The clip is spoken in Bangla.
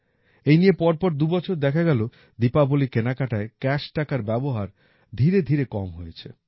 এই নিয়ে পরপর দুবছর দেখা গেল দীপাবলীর কেনাকাটায় ক্যাশ টাকার ব্যবহার ধীরে ধীরে কম হয়েছে